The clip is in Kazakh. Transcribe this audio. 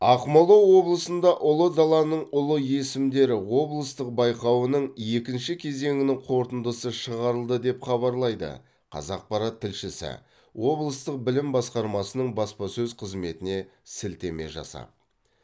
ақмола облысында ұлы даланың ұлы есімдері облыстық байқауының екінші кезеңінің қорытындысы шығарылды деп хабарлайды қазақпарат тілшісі облыстық білім басқармасының баспасөз қызметіне сілтеме жасап